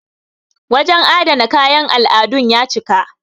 wajen adana kayan al'adun ya cika